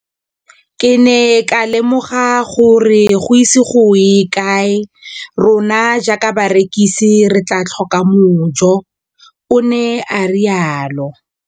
Ke ne ka lemoga gore go ise go ye kae rona jaaka barekise re tla tlhoka mojo, o ne a re jalo.